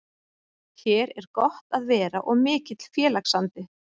Hér er gott að vera og mikill félagsandi.